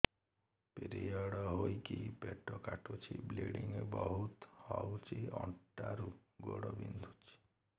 period ହୋଇକି ପେଟ କାଟୁଛି ବ୍ଲିଡ଼ିଙ୍ଗ ବହୁତ ହଉଚି ଅଣ୍ଟା ରୁ ଗୋଡ ବିନ୍ଧୁଛି